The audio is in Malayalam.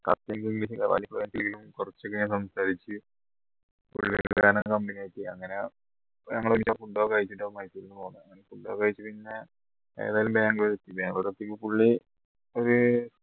കുറച്ച് സംസാരിച് അങ്ങനെ ഞങ്ങള് food ഒക്കെ കഴിച്ചിട്ട് മൈസൂരിന്ന് പോന്നേ അങ്ങനെ food ഒക്കെ കഴിച് പിന്നെ ഏതായാലും ബാംഗ്ലൂർ എത്തി ബാംഗ്ലൂർ എത്തിയപ്പോ പുള്ളി ഒരു